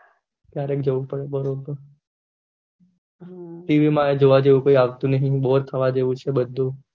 ત્યાં રહી ને જવું પડે tv માં જોવા જેવું કોઈ આવતું નહી બોર થવા જેવું છે બધું